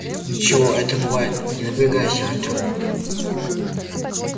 ничего это бывает не напрягайся артем